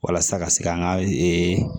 Walasa ka se k'an ka ee